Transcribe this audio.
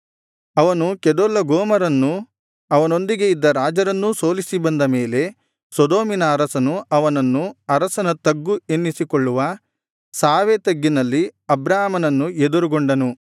ಅವನು ಕೆದೊರ್ಲಗೋಮರನ್ನೂ ಅವನೊಂದಿಗೆ ಇದ್ದ ರಾಜರನ್ನೂ ಸೋಲಿಸಿ ಬಂದ ಮೇಲೆ ಸೊದೋಮಿನ ಅರಸನು ಅವನನ್ನು ಅರಸನ ತಗ್ಗು ಎನ್ನಿಸಿಕೊಳ್ಳುವ ಶಾವೆ ತಗ್ಗಿನಲ್ಲಿ ಅಬ್ರಾಮನನ್ನು ಎದುರುಗೊಂಡನು